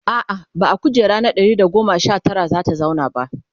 a'a ba a kujera na Ɗari da goma Sha Tara zata zauna ba